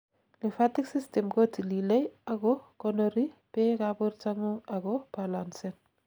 lymphatic system kotililei ak ko konori beek ab bortangung ak ko balancen